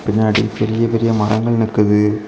பின்னாடி பெரிய பெரிய மரங்கள் நிக்குது.